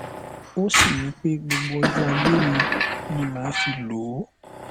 ó sì ní pé gbogbo ọjọ ayé mi ni màá fi lò ó